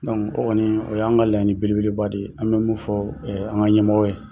o kɔnii, o y an ŋa laɲini belebeleba de ye, an bɛ mun fɔɔ an ŋa ɲɛmɔgɔ ye.